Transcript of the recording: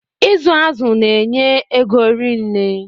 Ịzụ azụ na-enye ego rinne